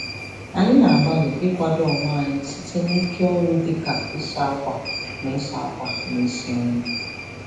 Anyị na-agbalị ịkwado onwe anyị site n'ike ọrụ dị ka ịsa akwa na isi akwa na isi nri.